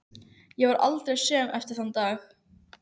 Ég varð aldrei söm eftir þann dag.